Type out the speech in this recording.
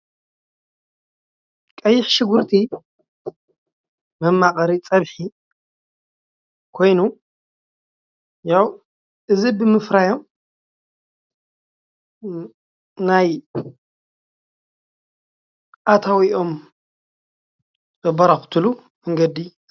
ቀይሕ ሸጉርቲ መማቀሪ ፀብሒ ኾይኑ ያው እዚ ብምፍራዮም ናይ ኣታዊኦም ዘበራኽትሉ መንገዲ እዩ።